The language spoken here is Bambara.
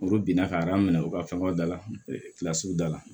Olu binna ka minɛ u ka fɛnw da la da la